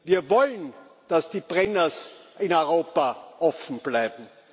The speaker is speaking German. Wir wollen, dass die Brenners in Europa offen bleiben.